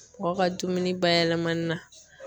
Mɔgɔ ka dumuni bayɛlɛmani la